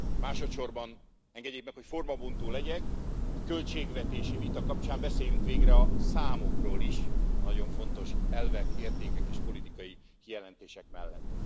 Másodsorban, engedjék meg, hogy formabontó legyek, egy költségvetési vita kapcsán beszéljünk végre a számokról is a nagyon fontos, elvek, értékek és politikai kijelentések mellett.